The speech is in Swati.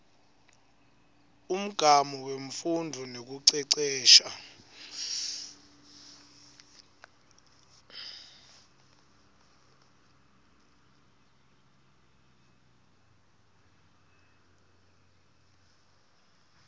umgamu wemfundvo nekucecesha